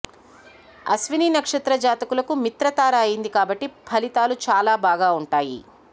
అశ్విని నక్షత్ర జాతకులకు మిత్ర తార అయింది కాబట్టి ఫలితాలు చాలా బాగా ఉంటాయి